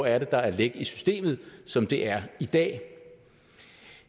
er der er læk i systemet som det er i dag